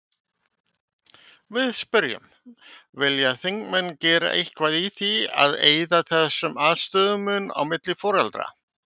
Við spyrjum: Vilja þingmenn gera eitthvað í því að eyða þessum aðstöðumun á milli foreldra?